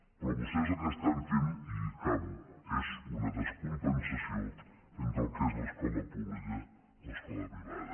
però vostès el que estan fent i acabo és una descompensació entre el que és l’escola pública i l’escola privada